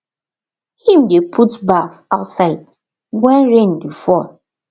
him dey put baff outside when rain dey fall